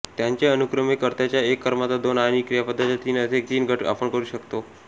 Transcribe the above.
त्यांचे अनुक्रमे कर्त्याचा एक कर्माचा दोन आणि क्रियापदाचा तीन असे तीन गट आपण करू शकतो